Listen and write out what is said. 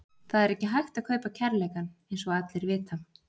Það er ekki hægt að kaupa kærleikann eins og allir vita.